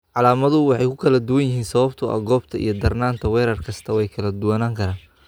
Calaamaduhu way kala duwan yihiin sababtoo ah goobta iyo darnaanta weerar kasta way kala duwanaan karaan.